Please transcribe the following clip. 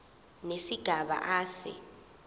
nesigaba a se